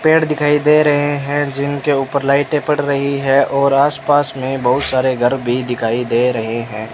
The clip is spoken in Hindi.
पेड़ दिखाई दे रहे हैं जिनके ऊपर लाइटें पड़ रहीं है और आस-पास में बहुत सारे घर भी दिखाई दे रहे हैं।